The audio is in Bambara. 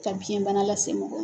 Ka biyɛnbana lase mɔgɔ